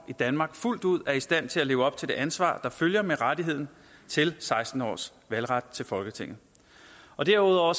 i danmark fuldt ud er i stand til at leve op til det ansvar der følger med rettigheden til seksten års valgret til folketinget derudover